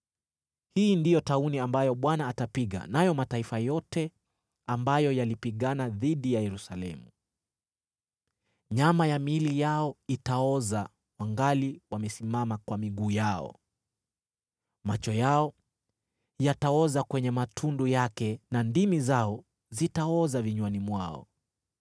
Hii ndiyo tauni ambayo Bwana atapiga nayo mataifa yote ambayo yalipigana dhidi ya Yerusalemu: Nyama ya miili yao itaoza wangali wamesimama kwa miguu yao, macho yao yataoza kwenye matundu yake na ndimi zao zitaoza vinywani mwao.